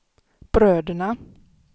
bröderna